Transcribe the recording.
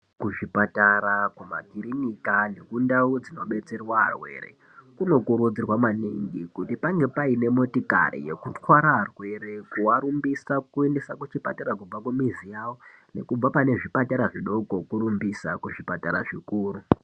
Kuzvipatara, kumakirinika, nekundau dzinobetserwa arwere kunokurudzirwa maningi kuti pange paine motikari yekutwara arwere, kuarumbisa kuendesa kuchipatara kubva kumizi yawo, nekubva pane zvipatara zvidoko kurumbisa kuzvipatara zvikuru.